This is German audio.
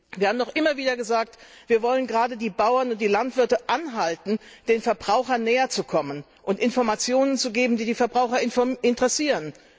Wir haben doch immer wieder gesagt, wir wollen gerade die Bauern und die Landwirte anhalten, den Verbrauchern näherzukommen und Informationen zu geben, die die Verbraucher interessieren.